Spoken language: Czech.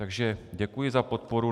Takže děkuji za podporu.